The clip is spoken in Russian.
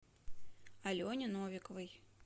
алене новиковой